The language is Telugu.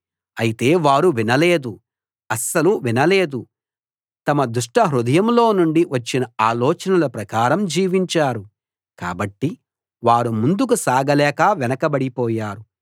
అయితే వారు వినలేదు అస్సలు వినలేదు తమ దుష్టహృదయంలో నుండి వచ్చిన ఆలోచనల ప్రకారం జీవించారు కాబట్టి వారు ముందుకు సాగలేక వెనకబడిపోయారు